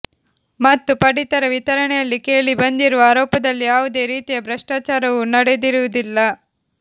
ಮತ್ತು ಪಡಿತರ ವಿತರಣೆಯಲ್ಲಿ ಕೇಳಿ ಬಂದಿರುವ ಆರೋಪದಲ್ಲಿ ಯಾವುದೇ ರೀತಿಯ ಭ್ರಷ್ಟಾಚಾರವು ನಡೆದಿರುವುದಿಲ್ಲ